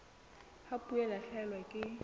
ha puo e lahlehelwa ke